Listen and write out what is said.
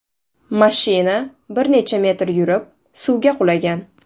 Mashina bir necha metr yurib, suvga qulagan.